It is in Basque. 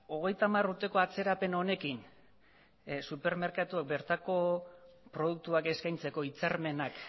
hogeita hamar urteko atzerapen honekin supermerkatuek bertako produktuak eskaintzeko hitzarmenak